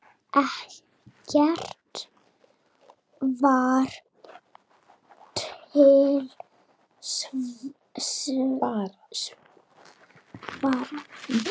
Ekkert var til sparað.